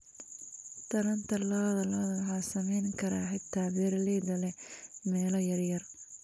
Taranta lo'da lo'da waxaa samayn kara xitaa beeralayda leh meelo yar yar.